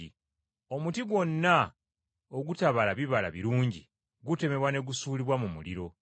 Omuti gwonna ogutabala bibala birungi gutemebwa ne gusuulibwa mu muliro.